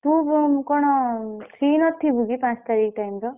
ତୁ କଣ free ନଥିବୁ କି ପାଞ୍ଚ ତାରିଖ time ର?